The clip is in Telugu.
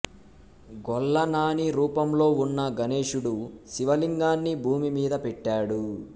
గొల్లనాని రూపంలో ఉన్న గణేశుడు శివలింగాన్ని భూమి మీద పెట్టాడు